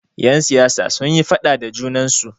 Yan siyasa sunyi faɗa da junansu.